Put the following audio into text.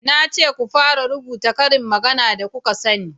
na ce ku fara rubuta ƙarin magana da kuka sani!